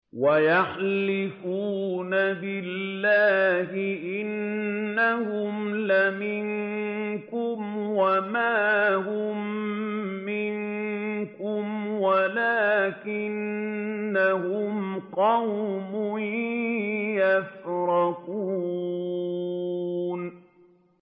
وَيَحْلِفُونَ بِاللَّهِ إِنَّهُمْ لَمِنكُمْ وَمَا هُم مِّنكُمْ وَلَٰكِنَّهُمْ قَوْمٌ يَفْرَقُونَ